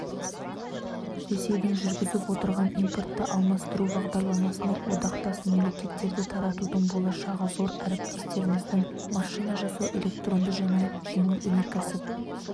ресейдің жүргізіп отырған импортты алмастыру бағдарламасына одақтасмемлекеттердітартудың болашағы зор әріптестерімізді машина жасау электронды және жеңіл өнеркәсіп